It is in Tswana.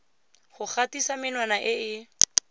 go gatisa menwana e e